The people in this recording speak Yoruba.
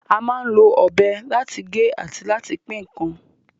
A máa ń lo ọ̀bẹ láti gé àti láti pín ǹkan